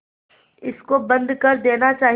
इसको बंद कर देना चाहिए